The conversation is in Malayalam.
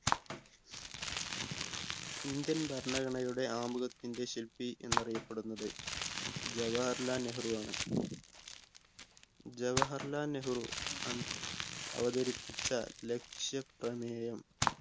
indian ഭരണഘടനയുടെ ആമുഖത്തിന്റെ ശില്പി എന്നറിയപ്പെടുന്നത് ജവഹർലാൽ നെഹ്‌റു ആണ് ജവാഹർലാൽ നെഹ്‌റു അൻ അവതരിപ്പിച്ച ലക്ഷ്യ പ്രമേയം